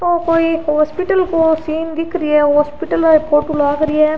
वो कोई हॉस्पिटल को सिन दिख री है हॉस्पिटल वाली फोटो लाग री है